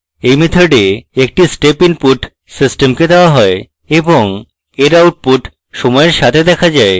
in method একটি step input সিস্টেমকে দেওয়া হয় এবং in output সময়ের সাথে দেখা যায়